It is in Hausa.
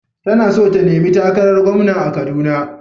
Tana so ta nemi takarar gwamna a kaduna.